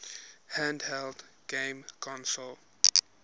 handheld game console